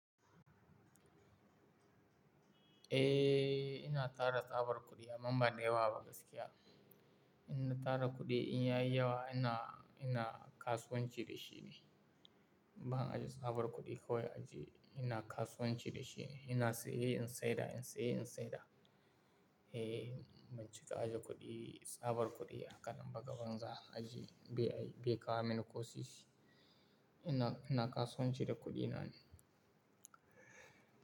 Eh, ina tara tsabar kuɗi amma ba da yawa gaskiya. Ina tara kuɗi in ya yi yawa ina, ina kasuwanci da shi ne. Ban ajiye tsabar kuɗi kawai ajiye ina kasuwanci da shi. Ina saye in sayar, in saye in sayar. Eh, bincika ajiye kuɗi, tsabar kuɗi a kalan ba ga banza ajiye bai, bai kawo mini ƙoshi shi. Ina, ina kasuwanci da kuɗina ne.